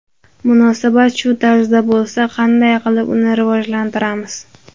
Munosabat shu tarzda bo‘lsa, qanday qilib uni rivojlantiramiz?